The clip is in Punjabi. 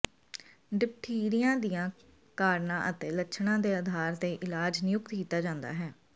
ਡਿਪਥੀਰੀਆ ਦੀਆਂ ਕਾਰਨਾਂ ਅਤੇ ਲੱਛਣਾਂ ਦੇ ਆਧਾਰ ਤੇ ਇਲਾਜ ਨਿਯੁਕਤ ਕੀਤਾ ਜਾਂਦਾ ਹੈ